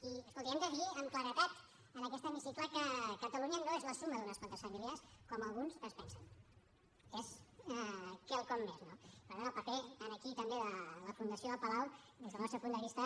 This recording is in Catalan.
i escolti hem de dir amb claredat en aquest hemicicle que catalunya no és la suma d’unes quantes famílies com alguns es pensen és quelcom més no per tant el paper aquí també de la fundació del palau des del nostre punt de vista